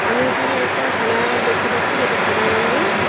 আমি এখানে একটা থালা দেখতে পাচ্ছি যেটা সাদা রংগের।